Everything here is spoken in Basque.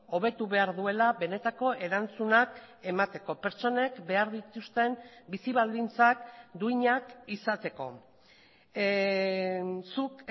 hobetu behar duela benetako erantzunak emateko pertsonek behar dituzten bizi baldintzak duinak izateko zuk